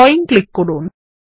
drawing click করুন